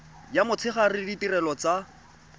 ya motshegare le ditirelo tsa